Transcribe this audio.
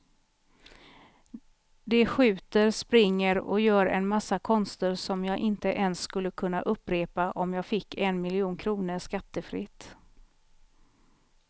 De skjuter, springer och gör en massa konster som jag inte ens skulle kunna upprepa om jag fick en miljon kronor skattefritt.